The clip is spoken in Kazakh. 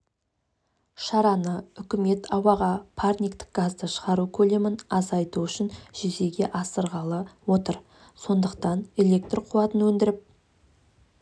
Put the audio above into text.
шараны үкімет ауаға парниктік газды шығару көлемін азайту үшін жүзеге асырғалы отыр сондықтан электр қуатын өндіріп